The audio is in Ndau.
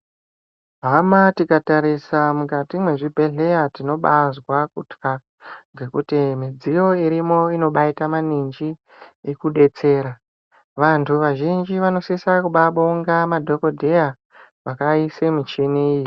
Hhama tikatarisa mukati mwezvibhedhleya tinobazva kutha ngekuti midziyo iriko inobayika maninji, ikudetsera. Vantu vazhinji vanosisa kubabonga madhokodheya vakayise michini iyi.